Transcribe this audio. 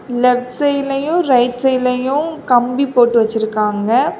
Left சைடுலையு right சைடுலையு கம்பி போட்டு வச்சிருக்காங்க.